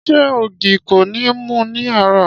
Ṣé ògì kọ́ ni o mu ní àárò?